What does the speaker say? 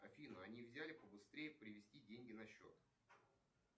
афина а нельзя ли побыстрее перевести деньги на счет